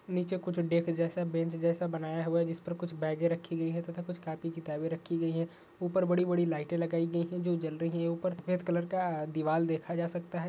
नीचे कुछ डेक जैसा बेंच जैसा बनाया हुआ है जिस पर कुछ बैगें रखी गई हैं तथा कुछ कॉपी किताबे रखी गई हैं। ऊपर बड़ी-बड़ी लाइट लगाइ गई हैं जो जल रही है। ऊपर सफ़ेद कलर का दीवाल देखा जा सकता है।